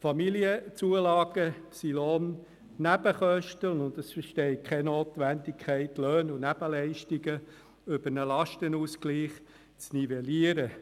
Die Familienzulagen sind Lohnnebenkosten, und es besteht keine Notwendigkeit, Löhne und Nebenleistungen über einen Lastenausgleich zu nivellieren.